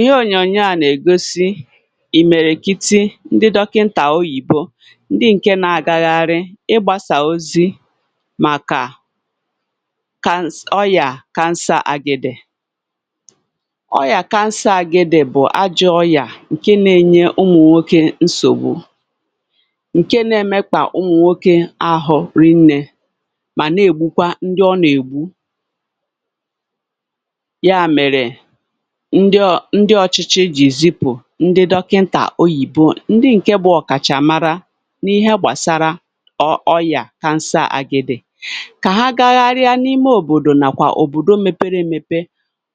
ihe ònyònyo à nà-ègosi ìmèrèkiti ndị dọkịntà oyibo, ndị ǹke na-agagharị ịgbàsà ozi màkà cancer ọyà cancer àgịdè. ọyà cancer àgịdè bụ̀ ajọ̇ ọyà ǹkè na-enye ụmụ̀nwokė nsògbu, ǹkè na-emekwà ụmụ̀nwokė ahụ̀ rinnė mà na-ègbukwa ndị ọ nà-ègbu. ya mèrè ndị ọ̀chịchị zipụ̀ ndị dọkịntà oyibo, ndị ǹke gbụ̇ ọ̀kàchàmara n’ihe gbàsara ọyà cancer àgịdè, kà ha gaghari ya n’ime òbòdò nàkwà òbòdò mepere èmepe,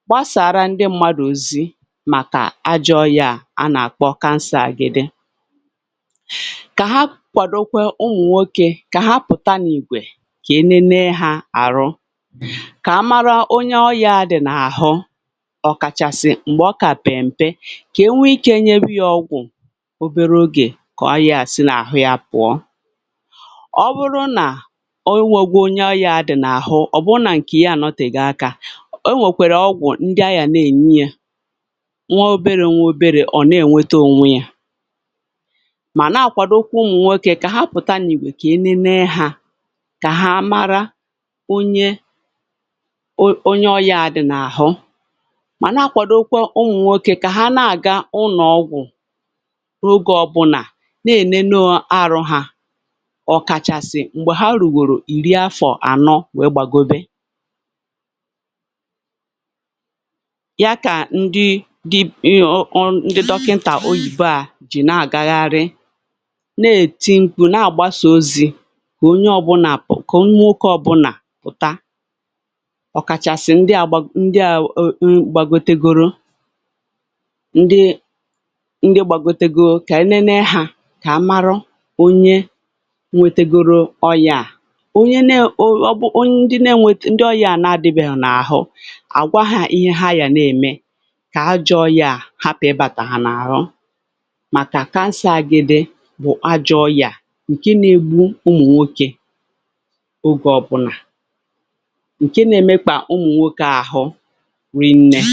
gbasàra ndị mmadụ̇, màkà ajọ̇ ya a nà-àkpọ cancer àgịdè. kà ha kwàdòkwa ụmụ̀nwokė kà ha pụ̀ta n’ìgwè, kà enene hȧ àrụ, ọ̀kàchàsị̀ m̀gbè ọkà pèmpe, kà enwee ikė nyebi ọgwụ̀ obere ogè, kà ọyà sì n’àhụ yȧ pụ̀ọ. ọ bụrụ nà o nwėgwȧ onye, ọyà adị̇ n’àhụ, ọ̀ bụrụ nà ǹkè ya ànọtègakȧ, o nwèkwèrè ọgwụ̀ ndị ahụ̀ nà-ènye yȧ nwa obere nwa obere, ọ̀ nà-ènweta ònwe yȧ. mà nà-àkwàdòkwa ụmụ̀nwokė kà ha pụ̀ta n’ìwè, kà enene hȧ, mà na-akwàdòkwa ụmụ̀nwokė kà ha nà-àga ụlọ̀ọgwụ̀ n’oge ọbụnà, na-ènene arụhà ọ̀kàchàsị̀ m̀gbè ha rùrù ìri afọ̀ ànọ. wee gbàgobe ya, kà ndị dọkịntà oyibo à ji na-agagharị, na-èti ǹkụ, na-àgbàsà ozi̇, kà onye ọbụnà pụ̀rụ, kà onye oke ọbụnà pụ̀ta. ndị à wụ̀, um gbàgotègorò ndị, ndị gbàgotègorò, kà nne nà ha kà mara onye nwetègorò ọyà à, onye nė ọyà na-enweta, ndị ọyà à nà-adìbèghì n’àhụ, à gwa hȧ ihe ha yà nà-ème, kà ha jọọ ọyà à hapụ̀ ịbàtà hà n’àhụ. màkà cancer àgịdè bụ̀ àjọ̇ ọyà à ǹkè na-egbu ụmụ̀nwokė, ogè ọpụ̀nà rị nnẹ̇.